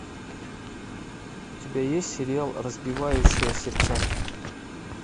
у тебя есть сериал разбивающая сердца